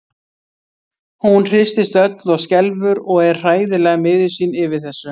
Hún hristist öll og skelfur og er hræðilega miður sín yfir þessu.